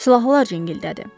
Silahlar cinkildədi.